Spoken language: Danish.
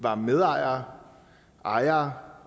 var medejere ejere